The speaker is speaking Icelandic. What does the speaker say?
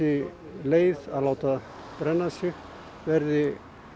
leið að láta brenna sig verði